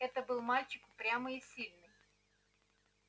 это был мальчик упрямый и сильный